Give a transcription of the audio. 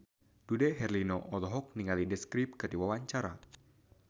Dude Herlino olohok ningali The Script keur diwawancara